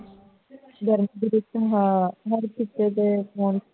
ਗਰਮੀ ਚ ਤੰਗ ਹਾਂ